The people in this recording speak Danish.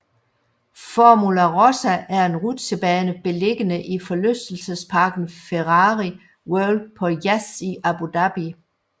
Formula Rossa er en rutsjebane beliggende i forlystelsesparken Ferrari World på Yas i Abu Dhabi